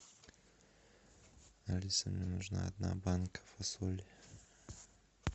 алиса мне нужна одна банка фасоли